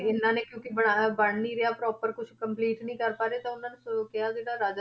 ਇਹਨਾਂ ਨੇ ਕਿਉਂਕਿ ਬਣਾਉਣਾ, ਬਣ ਨੀ ਰਿਹਾ proper ਕੁਛ complete ਨੀ ਕਰ ਪਾ ਰਹੇ ਤਾਂ ਉਹਨਾਂ ਨੂੰ ਅਹ ਕਿਹਾ ਸੀਗਾ